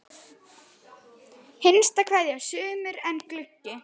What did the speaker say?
HINSTA KVEÐJA Sumir eru gluggi.